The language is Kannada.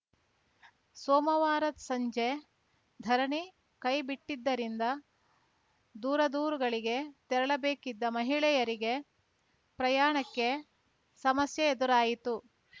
ಸೋಮವಾರ ಸಂಜೆ ಧರಣಿ ಕೈಬಿಟ್ಟಿದ್ದರಿಂದ ದೂರದೂರುಗಳಿಗೆ ತೆರಳಬೇಕಿದ್ದ ಮಹಿಳೆಯರಿಗೆ ಪ್ರಯಾಣಕ್ಕೆ ಸಮಸ್ಯೆ ಎದುರಾಯಿತು